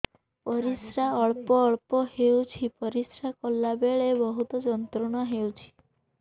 ପରିଶ୍ରା ଅଳ୍ପ ଅଳ୍ପ ହେଉଛି ପରିଶ୍ରା କଲା ବେଳେ ବହୁତ ଯନ୍ତ୍ରଣା ହେଉଛି